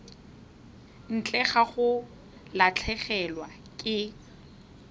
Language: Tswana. ntle ga go latlhegelwa ke